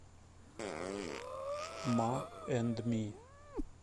ма энд ми